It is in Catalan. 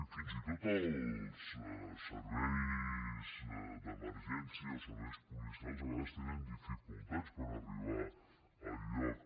fins i tot els serveis d’emergència o serveis policials a vegades tenen dificultats per arribar al lloc